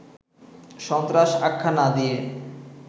সন্ত্রাস আখ্যা না দিয়ে